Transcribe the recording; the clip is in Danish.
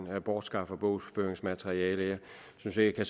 bortskaffer bogføringsmateriale jeg synes ikke at